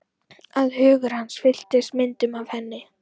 Að hugur hans fylltist myndum af henni.